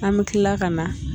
An mi kilala ka na